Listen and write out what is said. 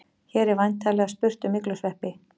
Hér er væntanlega spurt um myglusveppi.